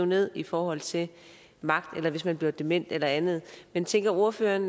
ned i forhold til magt eller hvis man bliver dement eller andet men tænker ordføreren